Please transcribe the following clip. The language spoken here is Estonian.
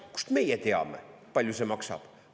Kust meie teame, palju see maksab!